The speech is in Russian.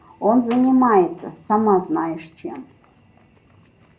он занимается сама знаешь чем